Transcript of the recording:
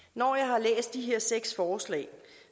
i alle de her seks forslag